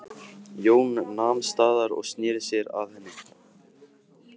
Jón nam staðar og sneri sér að henni.